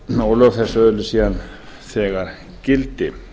og lög þessi öðlist síðan þegar gildi